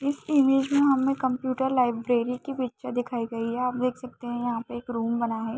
इस इमेज में हमें कंप्यूटर लाइब्रेरी की पिक्चर दिखाई गई है आप देख सकते हैं यहाँ पर एक रूम बना हैं।